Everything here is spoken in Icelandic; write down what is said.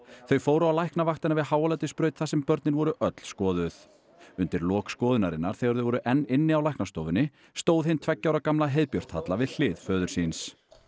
þau fóru á Læknavaktina við Háaleitisbraut þar sem börnin voru öll skoðuð undir lok skoðunarinnar þegar þau voru enn inni á stóð hin tveggja ára gamla heiðbjört Halla við hlið föður síns